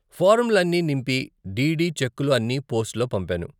ఫారంలు అన్నీ నింపి, డీడీ చెక్కులు అన్నీ పోస్టులో పంపాను.